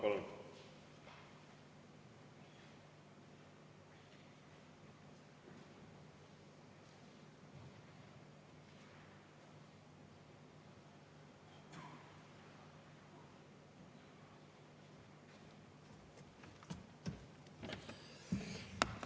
Palun!